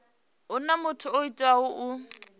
huna muthu o teaho u